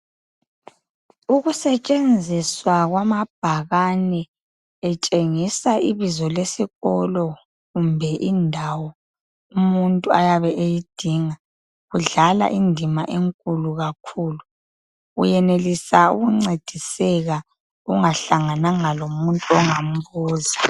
Usetshenziswa kwamabhakane etshengisa ibizo lesikolo kumbe indawo umuntu ayabe eyidinga kudlala indima enkulu kakhulu. Uyenelisa ukuncediseka ungahlangananga lomuntu ongambuza.